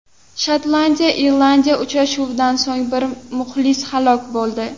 Shotlandiya Irlandiya uchrashuvidan so‘ng bir muxlis halok bo‘ldi.